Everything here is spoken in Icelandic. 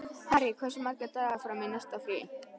Harry, hversu margir dagar fram að næsta fríi?